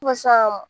Fo sisan nɔ